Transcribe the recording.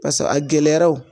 Pase a gɛlɛyara o